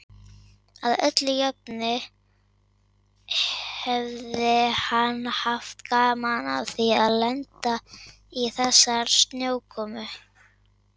Að öllu jöfnu hefði hann haft gaman af því að lenda í þessari snjókomu.